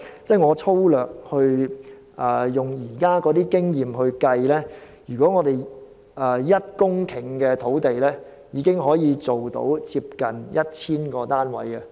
根據現時的經驗粗略計算 ，1 公頃土地已可興建近 1,000 個單位。